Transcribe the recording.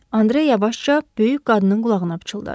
Andre yavaşca böyük qadının qulağına pıçıldadı.